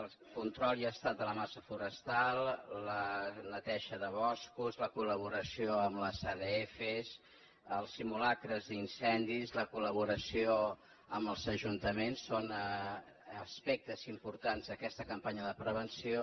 el control i estat de la massa forestal la neteja de boscos la col·laboració amb les adf els simulacres d’incendis la col·laboració amb els ajuntaments són as·pectes importants d’aquesta campanya de prevenció